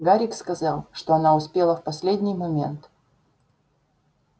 гарик сказал что она успела в последний момент